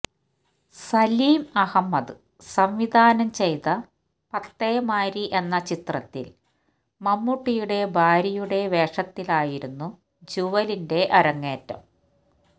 സലീം അഹമ്മദ് സംവിധാനം ചെയ്ത പത്തേമാരി എന്ന ചിത്രത്തിൽ മമ്മൂട്ടിയുടെ ഭാര്യയുടെ വേഷത്തിലായിരുന്നു ജ്യുവലിന്റെ അരങ്ങേറ്റം